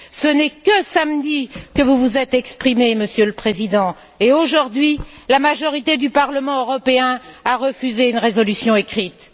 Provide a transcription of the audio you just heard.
Ce n'est que samedi que vous vous êtes exprimé, Monsieur le Président, et aujourd'hui la majorité du Parlement européen a refusé une résolution écrite.